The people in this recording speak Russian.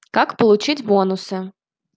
как получить бонусы